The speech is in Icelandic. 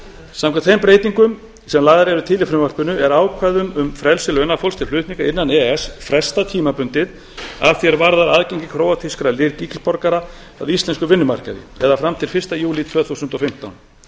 samkvæmt þeim breytingum sem lagðar eru til í frumvarpinu er ákvæðum um frelsi launafólks til flutninga innan e e s frestað tímabundið að því er varðar aðgengi króatískra ríkisborgara að íslenskum vinnumarkaði eða fram til fyrsta júlí tvö þúsund og fimmtán